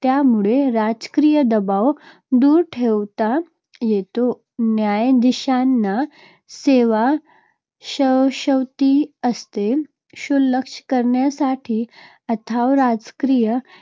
त्यामुळे राजकीय दबाव दूर ठेवता येतो. न्यायाधीशांना सेवा शाश्वती असते. क्षुल्लक कारणासाठी अथवा राजकीय